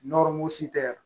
tɛ